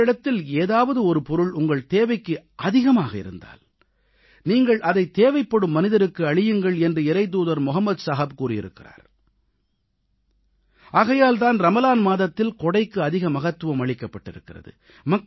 உங்களிடத்தில் ஏதாவது ஒரு பொருள் உங்கள் தேவைக்கு அதிகமாக இருந்தால் நீங்கள் அதை தேவைப்படும் மனிதருக்கு அளியுங்கள் என்று இறைத்தூதர் முகமது நபி கூறியிருக்கிறார் ஆகையால் தான் ரமலான் மாதத்தில் கொடைக்கு அதிக மகத்துவம் அளிக்கப்பட்டிருக்கிறது